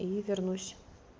и вернусь